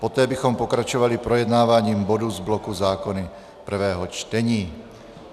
Poté bychom pokračovali projednáváním bodů z bloku zákony prvého čtení.